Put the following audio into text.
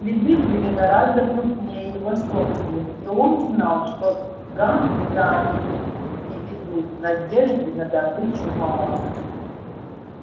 следы были гораздо крупнее его собственных и он знал что гам куда они приведут надежды на добычу мало